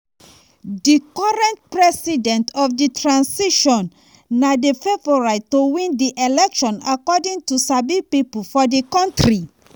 di current president of di transition na di favourite to win di election according to sabi pipo for di kontri.